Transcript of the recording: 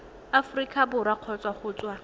aforika borwa kgotsa go tswa